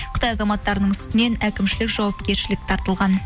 қытай азаматтарының үстінен әкімшілік жауапкершілік тартылған